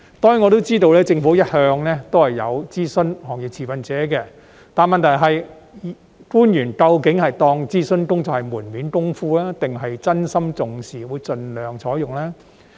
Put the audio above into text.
當然，我知道政府一向有諮詢行業持份者，但問題是官員究竟把諮詢工作當成門面工夫，還是真心重視諮詢結果，會盡量採用呢？